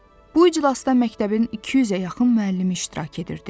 Bu iclasda məktəbin 200-ə yaxın müəllimi iştirak edirdi.